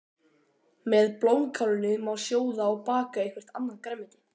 Með blómkálinu má sjóða og baka eitthvert annað grænmeti.